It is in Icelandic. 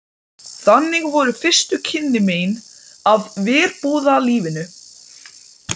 Þannig voru fyrstu kynni mín af verbúðalífinu.